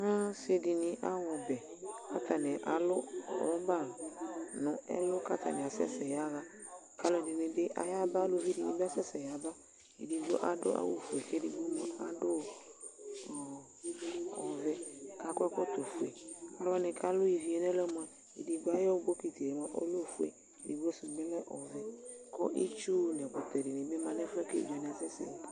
asidɩnɩ aɣa ɔbɛ, atanɩ alʊ rɔba kʊ atanɩ asɛ sɛ yaɣa, aluɛdɩnɩ bɩ ayaba, eluvi dɩnɩ bɩ yaba, ɛdɩnɩ adʊ awu fue, edigbo bɩ adʊ ɔvɛ, kʊ akɔ ɛkɔtɔ ofue, aluwanɩ kʊ alʊ ivi yɛ mua, edigbo ayʊ bokiti yɛ lɛ ofue, edigbo sʊ bɩ lɛ ɔvɛ, kʊ itsu nʊ ɛkutɛ dɩnɩ bɩ ma nʊ ɛfʊ yɛ bua kʊ evidzewanɩ asɛ sɛ yɛ